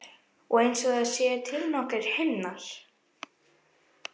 Og einsog það séu til nokkrir himnar.